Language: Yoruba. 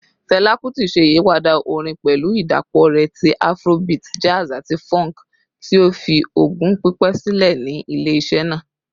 Fẹla Kuti ṣe iyipada orin pẹlu idapọ rẹ ti Afrobeat, jazz, ati funk, ti ​​o fi ogún pipẹ silẹ ni ile-iṣẹ naa.